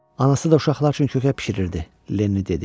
Anası da uşaqlar üçün kökə bişirirdi, Lenni dedi.